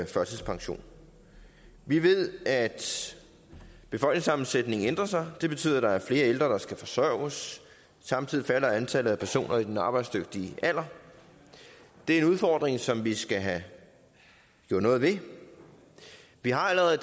førtidspension vi ved at befolkningssammensætningen ændrer sig det betyder at der er flere ældre der skal forsørges samtidig falder antallet af personer i den arbejdsdygtige alder det er en udfordring som vi skal have gjort noget ved vi har allerede